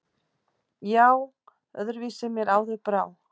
Já, öðru vísi mér áður brá.